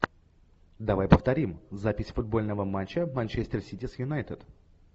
давай повторим запись футбольного матча манчестер сити с юнайтед